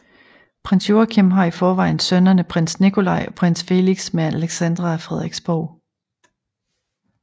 Prins Joachim har i forvejen sønnerne prins Nikolai og prins Felix med Alexandra af Frederiksborg